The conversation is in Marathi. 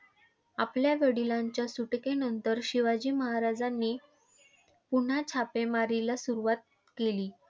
आपल्या वडिलांच्या सुटकेनंतर शिवाजी महाराजांनी पुन्हा छापे मारीला सुरुवात केली.